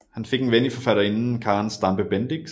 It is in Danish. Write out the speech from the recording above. Han fik en ven i forfatterinden Karen Stampe Bendix